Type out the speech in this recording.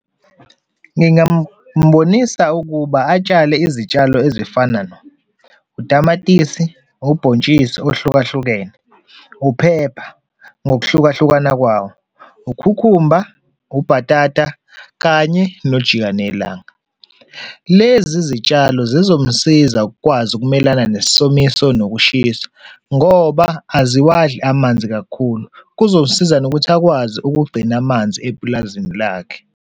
Ngingambonisa ukuba atshale izitshalo ezifana na, utamatisi, ubhontshisi ohlukahlukene, uphepha ngokuhlukahlukana kwawo, ukhukhumba, ubhatata kanye nojikanelanga. Lezi zitshalo zizomsiza ukwazi ukumelana nesomiso nokushisa ngoba aziwadli amanzi kakhulu, kuzosiza nokuthi akwazi ukugcina amanzi epulazini lakhe.